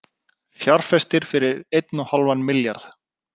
Fjárfestir fyrir einn og hálfan milljarð